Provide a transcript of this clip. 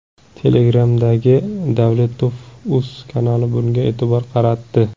Telegram’dagi Davletovuz kanali bunga e’tibor qaratdi .